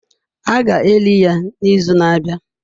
A ga-eli ya n'izu na-abịa.